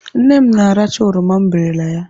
Nne m na-aracha oroma m berele ya.